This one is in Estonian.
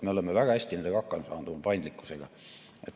Me oleme väga hästi nendega hakkama saanud oma paindlikkusega.